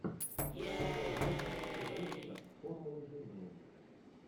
сезон восемь сериальчика формулы жизни